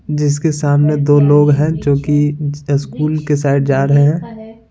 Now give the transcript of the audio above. जिसके सामने दो लोग हैं जो कि स्कूल के साइड जा रहे हैं।